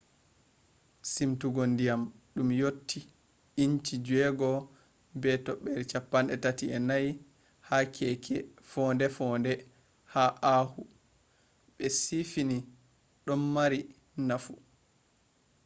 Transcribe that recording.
simtugo ndiyam ɗum yotti ínci 6.34 ha keeke fonde-fonde ha oahu be siifini do ɗon mari nafu